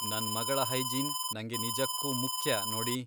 ನನ್ ಮಗಳ ಹೈಜೀನ್ ನಂಗೆ ನಿಜಕ್ಕೂ ಮುಖ್ಯ, ನೋಡಿ.